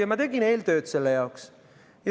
Ja ma tegin eeltööd selle jaoks.